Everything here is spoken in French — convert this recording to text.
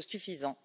suffisants.